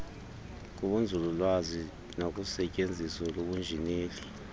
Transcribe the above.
kubunzululwazi nakusetyenziso lobunjineli